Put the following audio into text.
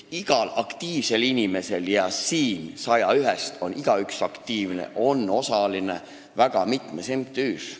Iga aktiivne inimene – ja siin on igaüks 101-st aktiivne – on osaline väga mitmes MTÜ-s.